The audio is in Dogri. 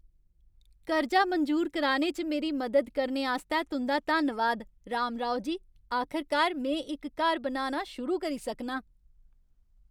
कर्जा मंजूर कराने च मेरी मदद करने आस्तै तुं'दा धन्नवाद, रामाराओ जी। आखरकार में इक घर बनाना शुरू करी सकनां।